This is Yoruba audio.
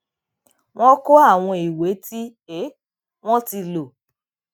wọn kó àwọn ìwé tí um wọn ti lò